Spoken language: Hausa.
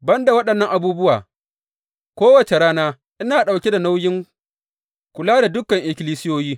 Ban da waɗannan abubuwa, kowace rana ina ɗauke da nauyin kula da dukan ikkilisiyoyi.